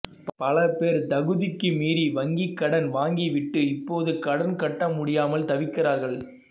பலபேர் தகுதிக்கு மீறி வங்கி கடன் வாங்கி விட்டு இப்போது கடன் கட்டமுடியாமல் தவிக்கிறார்கள்